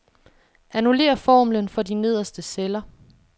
Annullér formlen for de nederste celler.